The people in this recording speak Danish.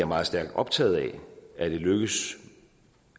meget stærkt optaget af at det lykkes